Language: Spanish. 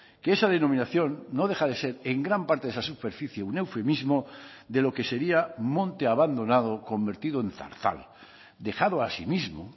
que esa denominación no deja de ser en gran parte de esa superficie un eufemismo de lo que sería monte abandonado convertido en zarzal dejado a sí mismo